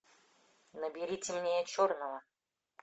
набери темнее черного